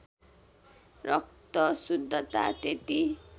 रक्त शुद्धता त्यति